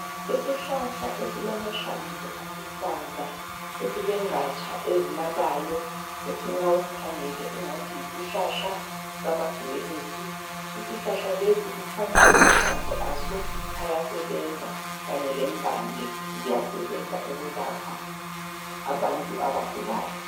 Isihlahlahla esilamahlamvu aluhlaza esilengatsha ezinabayo othi ma usikhangele kungathi yisihlahla sama gwebusi. Isihlahla lesi kukhanya amahlamvu aso ayasebenza kanye lempande ziyasebenza ukwelapha abantu abagulayo.